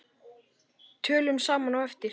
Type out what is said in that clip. Tölum saman á eftir.